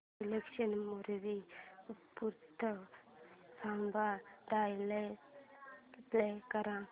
English movie with subtitles play कर